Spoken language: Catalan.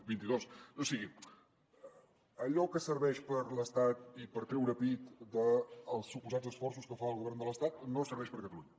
o sigui allò que serveix per a l’estat i per treure pit dels suposats esforços que fa el govern de l’estat no serveix per a catalunya